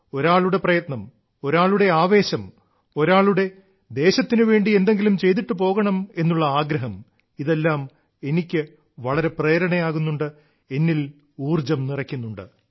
ഒരാളുടെ പ്രയത്നം ഒരാളുടെ ആവേശം ഒരാളുടെ ദേശത്തിനു വേണ്ടി എന്തെങ്കിലും ചെയ്തിട്ടു പോകണമെന്നുള്ള ആഗ്രഹം ഇതെല്ലാം എനിക്ക് വളരെ പ്രേരണയാകുന്നുണ്ട് എന്നിൽ ഊർജ്ജം നിറയ്ക്കുന്നുണ്ട്